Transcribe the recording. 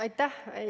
Aitäh!